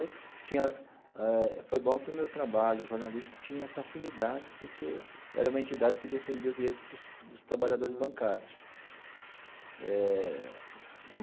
Tinha eh foi bom que o meu trabalho jornalístico tinha essa afinidade, porque era uma entidade que defendia o direito dos dos trabalhadores bancários eh.